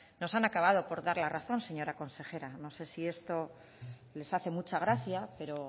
nos han acabado por dar la razón señora consejera no sé si esto les hace mucha gracia pero